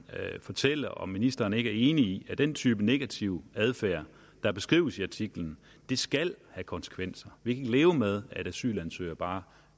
fortælle om ministeren ikke er enig i at den type negativ adfærd der beskrives i artiklen skal have konsekvenser vi kan ikke leve med at asylansøgere bare